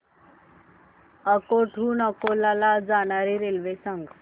अकोट हून अकोला ला जाणारी रेल्वे सांग